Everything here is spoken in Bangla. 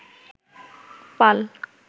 পাল